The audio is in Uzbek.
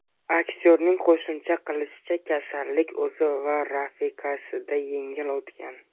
Aktyorning qo‘shimcha qilishicha, kasallik o‘zi va rafiqasida yengil o‘tgan.